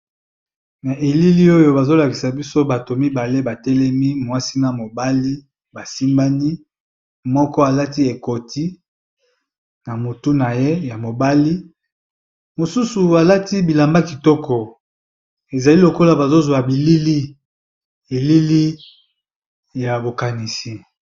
Na elili oyo bazolakisa biso bato mibale batelemi mwasi na mobali basimbani moko alati ekoti na motu na ye ya mobali mosusu alati bilamba kitoko ezali lokola bazozwa bilili elili ya bokanisi.